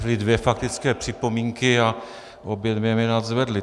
Byly dvě faktické připomínky a obě dvě mě nadzvedly.